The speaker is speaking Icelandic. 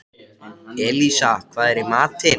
Elísa, hvað er í matinn?